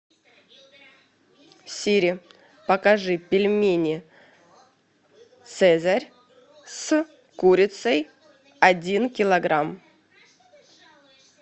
сири покажи пельмени цезарь с курицей один килограмм